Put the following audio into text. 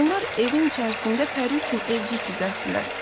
Onlar evin içərisində Pəri üçün evcik düzəltdilər.